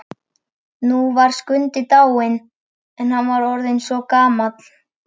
Nú var Skundi dáinn, hann hafði verið orðinn svo gamall.